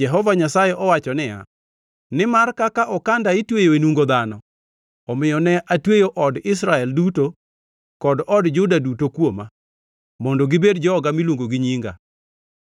Jehova Nyasaye owacho niya, ‘Nimar kaka okanda itweyo e nungo dhano, omiyo ne atweyo od Israel duto kod od Juda duto kuoma, mondo gibed joga miluongo gi nyinga,